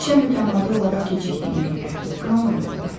İşə mütəmadi olaraq gecikdiyimə görə qınamıram onları.